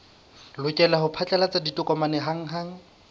lokela ho phatlalatsa ditokomane hanghang